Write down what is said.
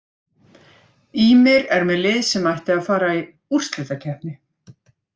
Ýmir er með lið sem ætti að fara í úrslitakeppni.